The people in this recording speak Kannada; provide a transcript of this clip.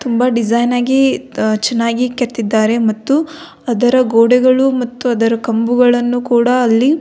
ತುಂಬ ಡಿಸೈನ್ ಆಗಿ ಚೆನ್ನಾಗಿ ಕೆತ್ತಿದ್ದಾರೆ ಮತ್ತು ಅದರ ಗೋಡೆಗಳು ಮತ್ತು ಅದರ ಕಂಬಗಳನ್ನು ಕೂಡ ಅಲ್ಲಿ --